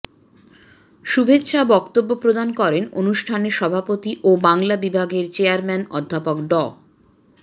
শুভেচ্ছা বক্তব্য প্রদান করেন অনুষ্ঠানের সভাপতি ও বাংলা বিভাগের চেয়ারম্যান অধ্যাপক ড